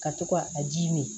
Ka to ka a ji mi